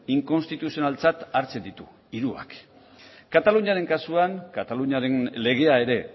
inkonstituzionaltzat hartzen ditu hirurak kataluniaren kasuan kataluniaren legea ere